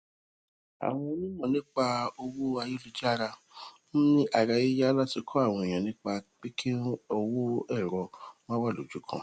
àwọn onímọ nípa owó ayélujára ń ni arayiya lati kọ awọn eniyan nipa pe ki owo ẹrọ ma wa lojukan